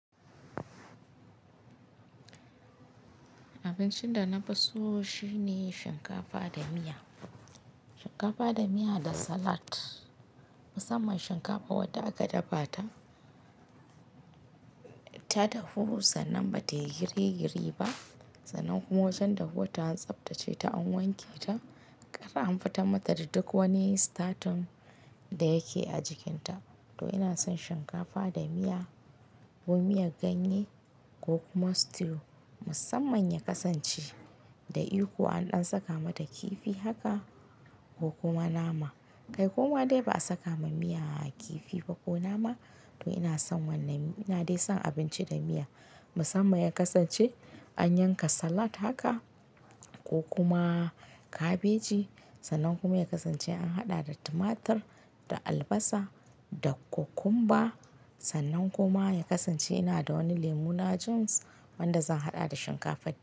Abincin da na fi so shine shinkafa da miya. Shinkafa da miya da salad. Musamman shinkafa wadda aka dafa ta, ta dahu sannan bata yi girigiri ba. Sannan kuma waccan dahuwarta an tsabtace ta an wanke ta, har an fitan mata da duk wani statin da yake a jikinta. To ina son shinkafa da miya ko miyar ganye ko kuma stew. Musamman ya kasance da iko an ɗan saka mata kifi haka ko kuma nama. Kai koma dai ba a saka ma miya kifi ba ko nama. To ina son wannan, ina dai son abinci da miya. Musamman ya kasance an yanka salad haka ko kuma kabeji. Sannan kuma ya kasance an haɗa da tumatur, da albasa, da kokumba. Sannan kuma ya kasance ina da wani lemu na juice wanda zan haɗa da shinkafa ta.